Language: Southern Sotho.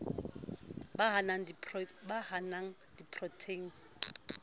ba ha a na diprotheine